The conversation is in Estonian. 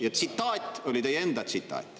Ja tsitaat oli teie enda tsitaat.